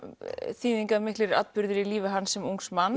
þýðingarmiklir atburðir í lífi hans sem ungs manns